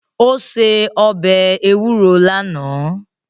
Ó se ọbẹ̀ ewúro lánàá